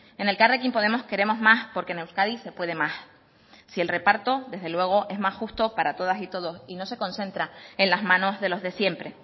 en elkarrekin podemos queremos más porque en euskadi se puede más si el reparto desde luego es más justo para todas y todos y no se concentra en las manos de los de siempre